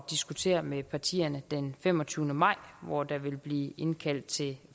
diskutere med partierne den femogtyvende maj hvor der vil blive indkaldt til